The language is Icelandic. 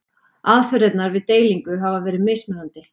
Aðferðirnar við deilingu hafa verið mismunandi.